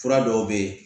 Fura dɔw bɛ yen